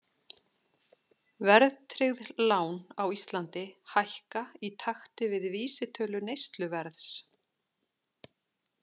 Verðtryggð lán á Íslandi hækka í takti við vísitölu neysluverðs.